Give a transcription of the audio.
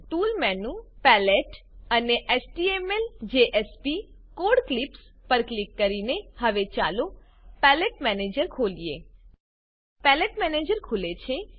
tools menu palette અને htmlજેએસપી code clips પર ક્લિક કરીને હવે ચાલો પેલેટ મેનેજર ખોલીએ પલટ્ટે મેનેજર ખુલે છે